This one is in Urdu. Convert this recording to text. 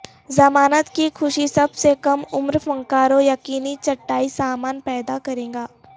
ضمانت کی خوشی سب سے کم عمر فنکاروں یقینی چٹائی سامان پیدا کرے گا